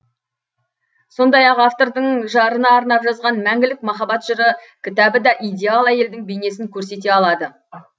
сондай ақ автордың жарына арнап жазған мәңгілік махаббат жыры кітабы да идеал әйелдің бейнесін көрсете алады